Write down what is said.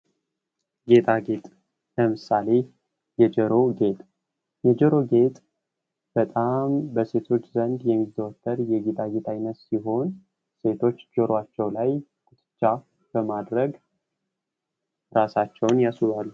ጌጣጌጥ ለምሳሌ የጆሮ ጌጥ:- የጆሮ ጌጥ በጣም በሴቶች ዘንድ የሚዘወትር የጌጣጌጥ አይነት ሲሆን ሴቶች ጆሯቸው ላይ በማድረግ ራሳቸውን ያስውባሉ።